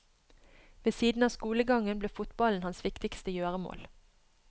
Ved siden av skolegangen ble fotballen hans viktigste gjøremål.